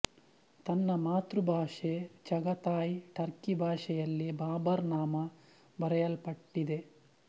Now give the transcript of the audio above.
ತನ್ನ ಮಾತೃ ಭಾಷೆ ಚಘತಾಯ್ ಟರ್ಕಿಭಾಷೆಯಲ್ಲಿ ಬಾಬರ್ ನಾಮ ಬರೆಯಲ್ಪಟ್ಟಿದೆ